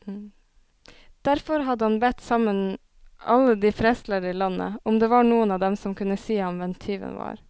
Derfor hadde han bedt sammen alle de prestlærde i landet, om det var noen av dem som kunne si ham hvem tyven var.